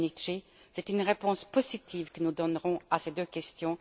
Domenici, c'est une réponse positive que nous donnerons à ces deux questions.